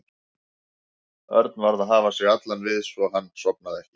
Örn varð að hafa sig allan við svo að hann sofnaði ekki.